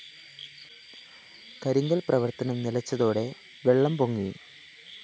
കരിങ്കല്‍ പ്രവര്‍ത്തനം നിലച്ചതോടെ വെള്ളം പൊങ്ങി